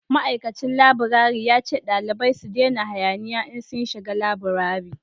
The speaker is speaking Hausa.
ma'aikacin laburare ya ce dalibai su dena hayaniya in sun shiga laburare